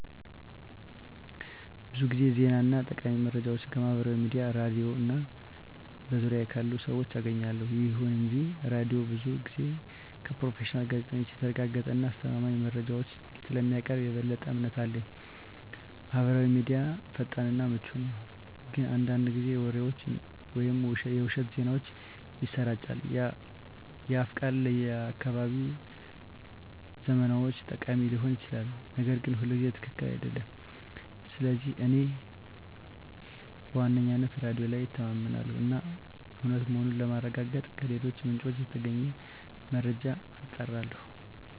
ብዙ ጊዜ ዜና እና ጠቃሚ መረጃዎችን ከማህበራዊ ሚዲያ፣ ሬድዮ እና በዙሪያዬ ካሉ ሰዎች አገኛለሁ። ይሁን እንጂ ሬዲዮው ብዙ ጊዜ ከፕሮፌሽናል ጋዜጠኞች የተረጋገጡ እና አስተማማኝ መረጃዎችን ስለሚያቀርብ የበለጠ እምነት አለኝ። ማህበራዊ ሚዲያ ፈጣን እና ምቹ ነው፣ ግን አንዳንድ ጊዜ ወሬዎችን ወይም የውሸት ዜናዎችን ያሰራጫል። የአፍ ቃል ለአካባቢያዊ ዝመናዎች ጠቃሚ ሊሆን ይችላል, ነገር ግን ሁልጊዜ ትክክል አይደለም. ስለዚህ እኔ በዋነኝነት በሬዲዮ ላይ እተማመናለሁ እና እውነት መሆኑን ለማረጋገጥ ከሌሎች ምንጮች የተገኘውን መረጃ አጣራለሁ።